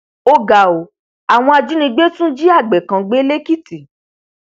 ó ga ọ àwọn ajínigbé tún jí àgbẹ kan gbé lẹkìtì